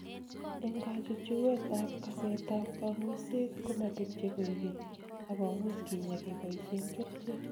Eng kachuchuet �ab kaset ab kang�uiset komatepche koekeny ak komuch kinyaa keboisen kerchek.